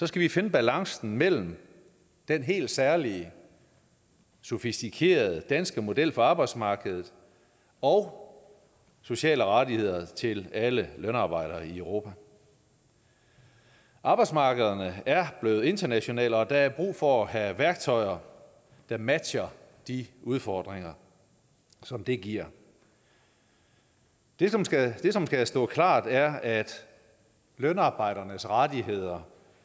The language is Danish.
skal vi finde balancen mellem den helt særlige sofistikerede danske model for arbejdsmarkedet og sociale rettigheder til alle lønarbejdere i europa arbejdsmarkederne er blevet internationale og der er brug for at have værktøjer der matcher de udfordringer som det giver det som skal som skal stå klart er at lønarbejdernes rettigheder